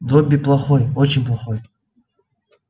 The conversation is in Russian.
добби плохой очень плохой